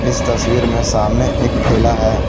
इस तस्वीर में सामने एक ठेला है।